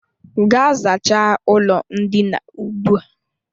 Gaa zachaa ụlọ ndina ugbu a!